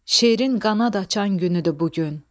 Şeirin qanad açan günüdür bu gün.